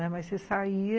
Mas você saía